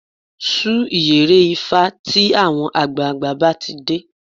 Sun ìyẹ̀rẹ̀ ifá tí àwọn àgbààgbà bá ti dé